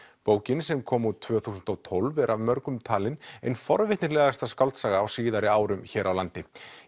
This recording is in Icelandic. bókin sem kom út tvö þúsund og tólf er af mörgum talin ein forvitnilegasta skáldsaga á síðari árum hér á landi